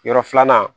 Yɔrɔ filanan